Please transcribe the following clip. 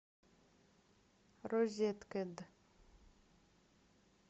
розеткед